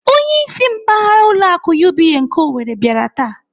Onyeisi mpaghara ụlọ akụ UBA nke Owerri bịara taa.